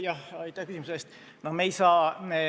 Aitäh küsimuse eest!